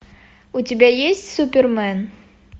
у тебя есть супермен